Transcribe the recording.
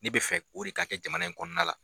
Ne be fɛ o re ka kɛ jamana in kɔnɔna la.